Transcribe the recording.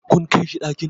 kun Kai shi ɗakin?